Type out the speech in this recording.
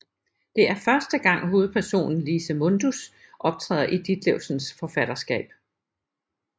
Det er første gang hovedpersonen Lise Mundus optræder i Ditlevsens forfatterskab